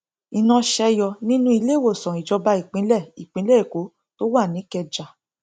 iná ṣe yọ nínú iléèwòsàn ìjọba ìpínlẹ ìpínlẹ èkó tó wà nìkẹjà